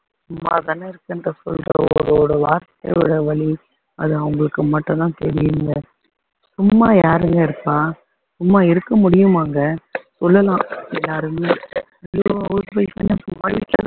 சும்மா தானே இருக்கேன்ற வார்த்தையோட வலி அது அவங்களுக்கு மட்டும்தான் தெரியும்ங்க சும்மா யாருங்க இருப்பா சும்மா இருக்க முடியுமாங்க சொல்லலாம் எல்லாருமே house wife ன்னு சும்மா வீட்டுல